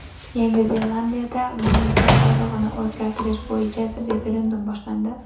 Yangi Zelandiyada mamlakat bayrog‘ini o‘zgartirish bo‘yicha referendum boshlandi.